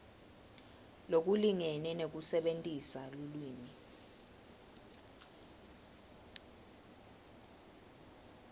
lokulingene nekusebentisa lulwimi